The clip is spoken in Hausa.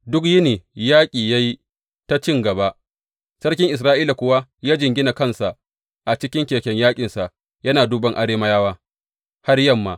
Duk yini yaƙi ya yi ta cin gaba, sarkin Isra’ila kuwa ya jingina kansa a cikin keken yaƙinsa yana duban Arameyawa har yamma.